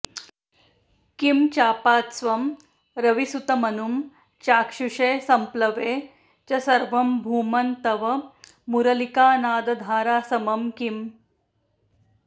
किं चापास्त्वं रविसुतमनुं चाक्षुषे सम्प्लवे च सर्वं भूमन् तव मुरलिकानादधारासमं किम्